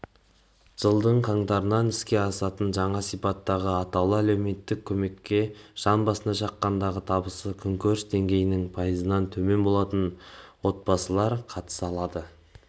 жылдың қаңтарынан іске асатын жаңа сипаттағы атаулы әлеуметтік көмекке жан басына шаққандағы табысы күнкөріс деңгейінің пайызынан төмен болатын отбасылар қатыса алады